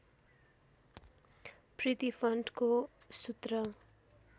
प्रिती फन्टको सूत्र